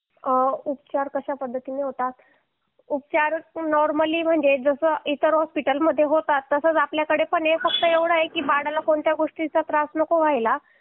उपचार कशा पद्धतीने होतात उपचार नॉर्मली म्हणजे जसे इतर हॉस्पिटलमध्ये होतात तसंच आपल्याकडे पण आहे पण एवढे की बाळाला कोणत्याच गोष्टीचा त्रास नको व्हायला